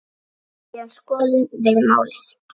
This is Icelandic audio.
Síðan skoðum við málið.